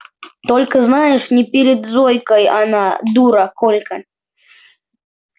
только знаешь не перед зойкой она дура колька